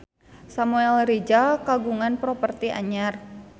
Samuel Rizal kagungan properti anyar